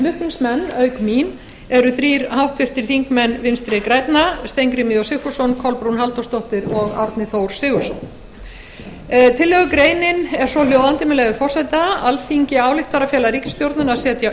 flutningsmenn auk mín eru þrír háttvirtir þingmenn vinstri grænna steingrímur j sigfússon kolbrún halldórsdóttir og árni þór sigurðsson tillögugreinin er svohljóðandi með leyfi forseta alþingi ályktar að fela ríkisstjórninni að setja